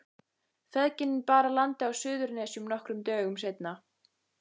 Feðginin bar að landi á Suðurnesjum nokkrum dögum seinna.